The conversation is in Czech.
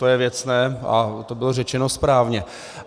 To je věcné a to bylo řečeno správně.